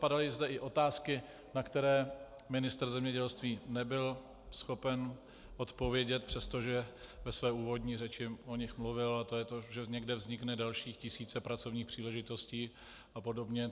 Padaly zde i otázky, na které ministr zemědělství nebyl schopen odpovědět, přestože ve své úvodní řeči o nich mluvil, a to je to, že někde vznikne dalších tisíce pracovních příležitostí a podobně.